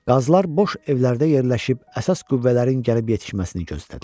Qazılar boş evlərdə yerləşib əsas qüvvələrin gəlib yetişməsini gözlədilər.